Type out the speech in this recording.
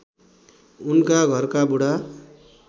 उनका घरका बुढा